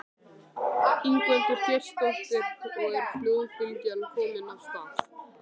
Ingveldur Geirsdóttir: Og er flóðbylgjan komin af stað?